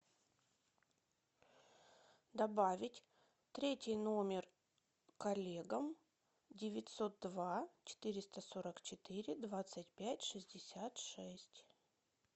добавить третий номер коллегам девятьсот два четыреста сорок четыре двадцать пять шестьдесят шесть